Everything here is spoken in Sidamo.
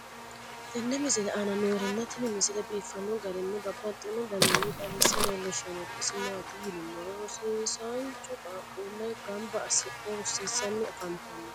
tenne misile aana noorina tini misile biiffanno garinni babaxxinno daniinni xawisse leelishanori isi maati yinummoro rosiisancho qaaqqulle ganbba asidhdhe rosiisanni afanttanno